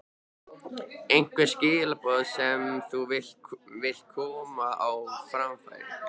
Einhver skilaboð sem þú vilt koma á framfæri?